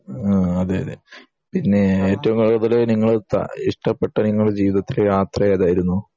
ആഹ് അതെയതെ പിന്നെ ഏറ്റവും കൂടുതൽ നിങ്ങൾ ഇഷ്ടപ്പെട്ട നിങ്ങളെ ജീവിതത്തിലെ യാത്ര ഏതായിരുന്നു